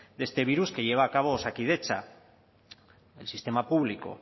de este virus que lleva a cabo osakidetza el sistema público